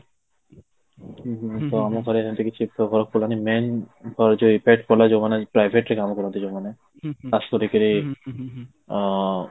ତ ଆମ ଉପରେ ସେମିତି କିଛି ପ୍ରଭାବ ପଡ଼ିଲାନି main ଯୋଉ effect ପଡିଲା ଯୋଉ ମାନେ private ରେ କାମ କରନ୍ତି ଯୋଉ ମାନେ ଖାସ କରିକି ଅଁ